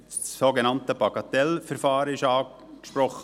Das sogenannte Bagatellverfahren wurde angesprochen: